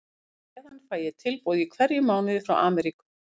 Og á meðan fæ ég tilboð í hverjum mánuði frá Amríku.